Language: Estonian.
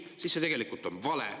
See on tegelikult vale.